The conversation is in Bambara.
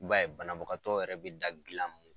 b'a ye banabagakatɔ yɛrɛ bɛ da dilan mun